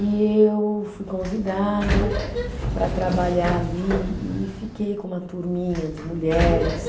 E eu fui convidada para trabalhar ali e fiquei com uma turminha de mulheres.